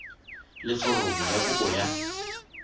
le foromo ya kopo ya